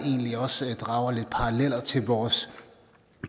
også drage en parallel til vores